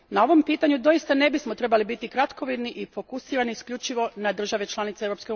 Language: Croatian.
Na ovom pitanju doista ne bismo trebali biti kratkovidni i fokusirani isključivo na države članice EU.